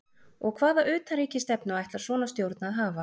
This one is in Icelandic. Og hvaða utanríkisstefnu ætlar svona stjórn að hafa?